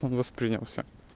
он воспринимался